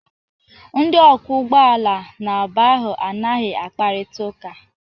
Ndị ọkwọ ụgbọala n'abụọ ahụ anaghị akparịta ụka.